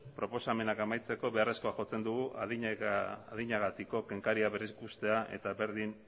proposamenak amaitzeko beharrezkoa jotzen dugu adinagatiko kenkaria berriz ikustea eta berdin